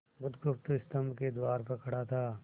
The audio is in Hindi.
बुधगुप्त स्तंभ के द्वार पर खड़ा था